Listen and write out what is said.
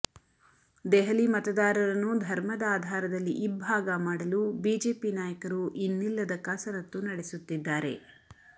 ದೆಹಲಿ ಮತದಾರರನ್ನು ಧರ್ಮದ ಆಧಾರದಲ್ಲಿ ಇಬ್ಭಾಗ ಮಾಡಲು ಬಿಜೆಪಿ ನಾಯಕರು ಇನ್ನಿಲ್ಲದ ಕಸರತ್ತು ನಡೆಸುತ್ತಿದ್ದಾರೆ